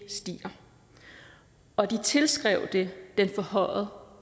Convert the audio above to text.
stiger og at de tilskrev det den forhøjede